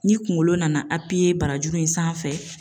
Ni kungolo nana apiye barajuru in sanfɛ